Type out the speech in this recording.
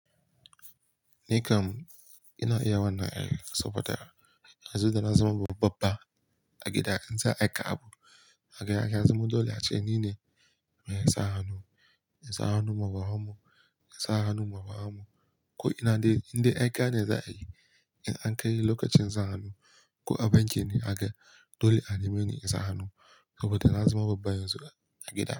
Ni kam ina iya wannan ai, saboda yanzu da na zama babba a gida, in za'a aika abu kaga ya zama dole a ce nine mai sa hannu, in sa hannu ma babammu, in sa hannu ma wahamu. Ko ina dai inda aika ne za a yi. In an kai lokacin sa hannu ko a banki ne haka ne dole a neme ni in sa hannu, saboda na zama babba yanzu a gida.